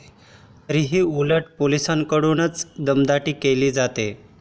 तरीही उलट पोलिसांकडूनच दमदाटी केली जाते.